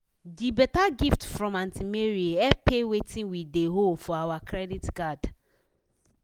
de better gift from aunty mary help pay wetin we dey owe for our credit card.